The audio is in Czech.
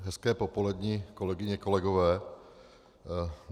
Hezké popoledni, kolegyně, kolegové.